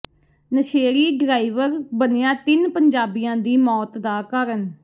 ਨਸ਼ੇੜੀ ਡਰਾਈਵਰ ਬਣਿਆ ਤਿੰਨ ਪੰਜਾਬੀਆਂ ਦੀ ਮੌਤ ਦਾ ਕਾਰਨ